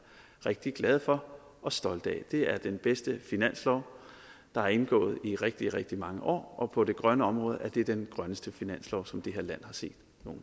rigtig glade for og stolte af det er den bedste finanslov der er indgået i rigtig rigtig mange år og på det grønne område er de den grønneste finanslov som det her land har set